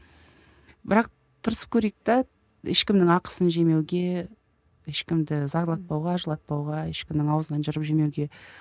бірақ тырысып көрейік те ешкімнің ақысын жемеуге ешкімді зарлатпауға жылатпауға ешкімнің аузынан жырып жемеуге